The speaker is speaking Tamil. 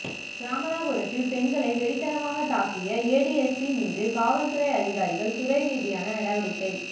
சியாமளாபுரத்தில் பெண்களை வெறித்தனமாக தாக்கிய ஏடிஎஸ்பி மீது காவல்துறை அதிகாரிகள் துறை ரீதியான நடவடிக்கை